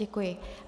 Děkuji.